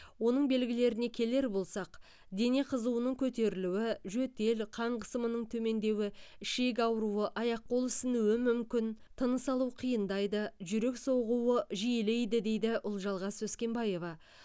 оның белгілеріне келер болсақ дене қызуының көтерілуі жөтел қан қысымының төмендеуі ішек ауруы аяқ қол ісінуі мүмкін тыныс алу қиындайды жүрек соғуы жиілейді дейді ұлжалғас өскенбаева